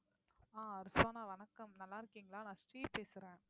ஆஹ் ரிஸ்வானா வணக்கம் நல்லா இருக்கீங்களா நான் ஸ்ரீ பேசுறேன்